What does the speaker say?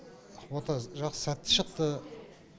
ота жақсы сәтті шықты